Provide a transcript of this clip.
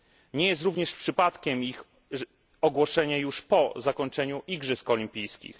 Nie jest również przypadkiem ich ogłoszenie już po zakończeniu igrzysk olimpijskich.